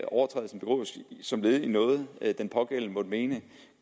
overtrædelsen begås som led i noget den pågældende måtte mene